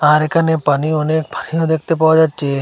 আর এখানে পানি অনেক ভারিও দেখতে পাওয়া যাচ্ছে।